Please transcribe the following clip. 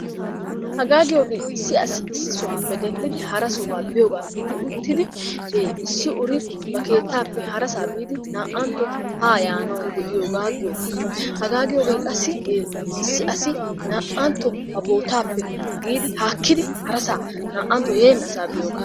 Haga giyoge issi asi issisappe denddidi hara sohuwaa biiyoga gidi-uttidi issi-uri bari keettappe hara biidi naa'antto ha yaanawu deiyoga giyoga. Hagaa giyoge qassi issi asi naa'antto ba bootappe biidi hakkidi hara saa naa'antto yeenasa biiyoga.